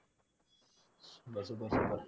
super super super